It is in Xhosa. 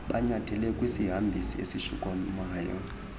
banyathele kwisihambisi esishukumayo